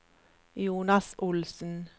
Jonas Olsen